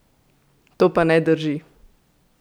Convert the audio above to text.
To pa ne drži!